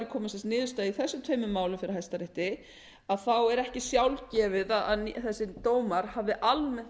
niðurstaða í þessum tveimur málum fyrir hæstarétti þá er ekki sjálfgefið að þessir dómar hafi almennt